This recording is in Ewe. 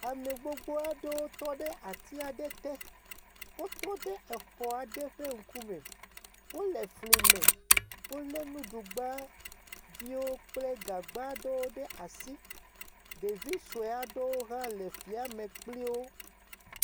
Ame gbogbo aɖewo tɔ ɖe atia ɖe te. Wotɔ ɖe exɔ aɖe ƒe ŋku me. Wole fli me. wole nuɖu gba viwo kple gagba viwo ɖe asi. Ɖevi sue aɖewo hã le flia me kpli wo.